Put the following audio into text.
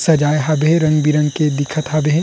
सजाये हवे रंग-बीरंग के दिखत हाबे हे।